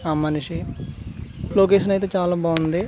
ఆ మనిషి లొకేషన్ అయితే చాలా బాగుంది.